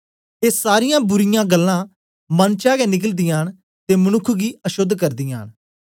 ए सारीयां बुरीयां गल्लां मन चा गै निकलदीयां न ते मनुक्ख गी अशोद्ध करदीयां न